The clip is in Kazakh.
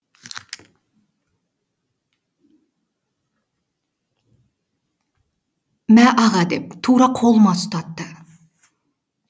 мә аға деп тура қолыма ұстатты